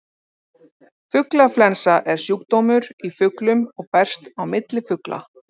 Fuglaflensa er sjúkdómur í fuglum og berst á milli fugla.